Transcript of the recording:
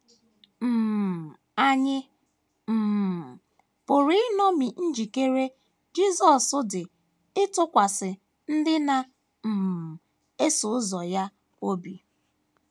um Ànyị um pụrụ iṅomi njikere Jisọs dị ịtụkwasị ndị na um - eso ụzọ ya obi?